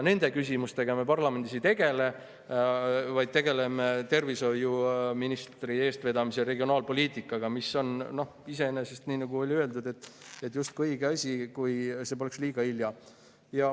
Nende küsimustega me parlamendis ei tegele, vaid tegeleme tervishoiuministri eestvedamisel regionaalpoliitikaga, mis on iseenesest, nii nagu oli öeldud, justkui õige asi, kui selleks poleks liiga hilja.